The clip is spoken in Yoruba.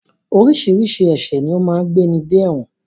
Oríṣiríṣi ẹ̀ṣẹ̀ ni ó máa ń gbéni de ẹ̀wọ̀n